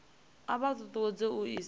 a vha ṱuṱuwedza u isa